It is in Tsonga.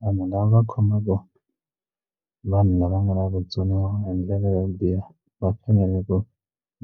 Vanhu lava khomaka vanhu lava nga vatsoniwa hi ndlela yo biha va fanele ku